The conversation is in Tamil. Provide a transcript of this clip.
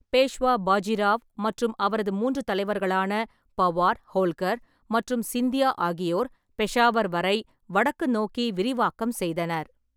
பேஷ்வா பாஜிராவ் மற்றும் அவரது மூன்று தலைவர்களான பவார், ஹோல்கர் மற்றும் சிந்தியா ஆகியோர், பெஷாவர் வரை வடக்கு நோக்கி விரிவாக்கம் செய்தனர்.